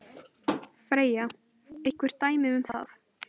Freyja: Einhver dæmi um það?